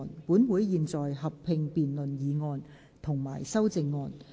本會現在合併辯論議案及修正案。